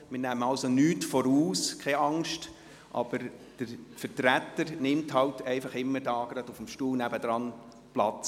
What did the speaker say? Keine Sorge, wir nehmen nichts vorweg, aber der erste Vizepräsident nimmt jeweils auf dem Stuhl nebenan Platz.